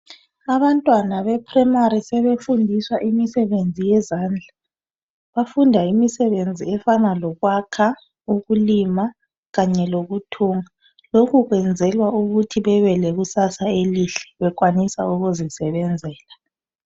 Abantwana be primary sebefundiswa imisebenzi yezandla, bafunda imisebenzi efana lokwakha, ukulima kanye lokuthunga. Lokhu kwenzelwa ukuthi bebe lekusasa elihle bekwanisa ukuzisebenzela.